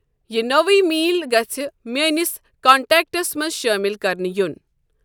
یِہ نٔو email گژِھہ میٲنِس کنٹیکٹس منز شٲمل کرنہٕ یِۄن ۔